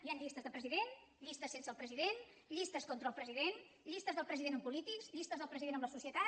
hi han llistes de presi dent llistes sense el president llistes contra el pre sident llistes del president amb polítics llistes del president amb la societat